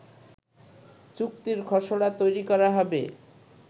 চুক্তির খসড়া তৈরি করা হবে